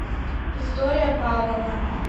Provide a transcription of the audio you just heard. виктория павловна